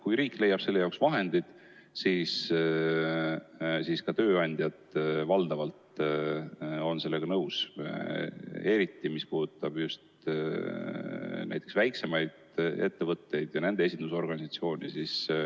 Kui riik leiab ise vahendid, siis on ka tööandjad valdavalt sellega nõus, eriti just väiksemad ettevõtted ja nende esindusorganisatsioon.